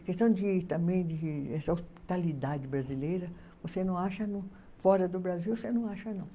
A questão de também de essa hospitalidade brasileira, você não acha no fora do Brasil, você não acha não.